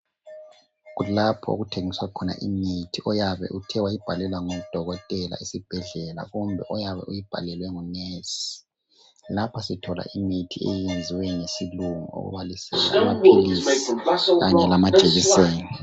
Kulapho okuthengiswa khona imithi oyabe Uthe wayibhalelwa ngudokotela esibhedlela kumbe oyabe uyinhalelwe ngu nurse , lapha sithola imithi eyenziwe ngesilungu okubalisela amaphilisi kanye lamajekiseni